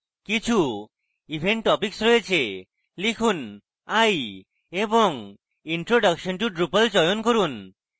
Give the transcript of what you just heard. কিছু event topics রয়েছে লিখুন i এবং introduction to drupal চয়ন করুন